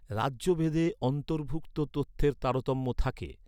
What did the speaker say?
রাজ্যভেদে অন্তর্ভুক্ত তথ্যের তারতম্য থাকে।